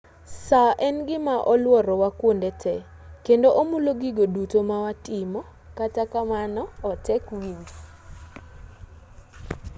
saa en gima oluorowa kuonde te kendo omulo gigo duto mawatimo kata kamano otek winjo